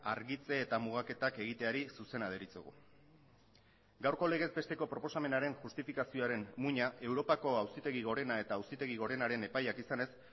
argitze eta mugaketak egiteari zuzena deritzogu gaurko legez besteko proposamenaren justifikazioaren muina europako auzitegi gorena eta auzitegi gorenaren epaiak izanez